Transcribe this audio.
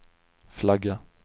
flagga